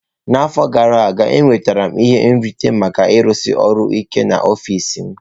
N'afọ gara aga, enwetara m ihe nrite maka ịrụsi ọrụ ike n'ọfịs m.